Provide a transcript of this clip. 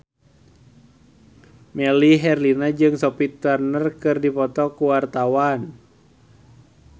Melly Herlina jeung Sophie Turner keur dipoto ku wartawan